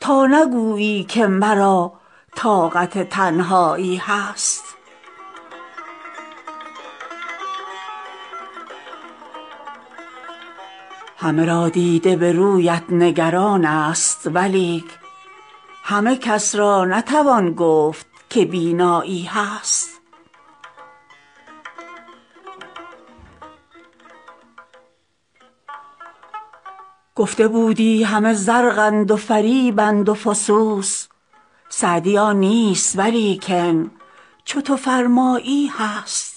تا نگویی که مرا طاقت تنهایی هست همه را دیده به رویت نگران ست ولیک همه کس را نتوان گفت که بینایی هست گفته بودی همه زرقند و فریبند و فسوس سعدی آن نیست ولیکن چو تو فرمایی هست